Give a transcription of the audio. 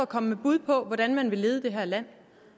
komme med bud på hvordan man vil lede det her land